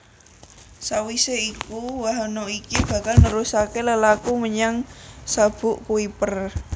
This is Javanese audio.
Sawisé iku wahana iki bakal nerusaké lelaku menyang Sabuk Kuiper